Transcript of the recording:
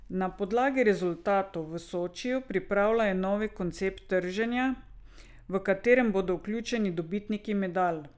Na podlagi rezultatov v Sočiju pripravljajo nov koncept trženja, v katerega bodo vključeni dobitniki medalj.